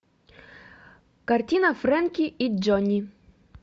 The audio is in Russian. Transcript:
картина фрэнки и джонни